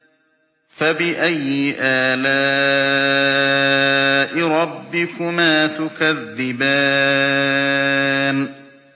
فَبِأَيِّ آلَاءِ رَبِّكُمَا تُكَذِّبَانِ